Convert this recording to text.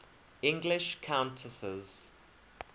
english countesses